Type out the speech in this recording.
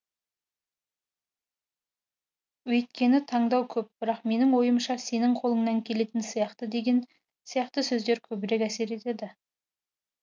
өйіткені таңдау көп бірақ менің ойымша сенің қолыңнан келетін сияқты деген сияқты сөздер көбірек әсер етеді